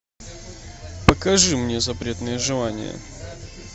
покажи мне запретные желания